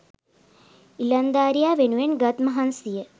ඉලංදාරියා වෙනුවෙන් ගත් මහන්සිය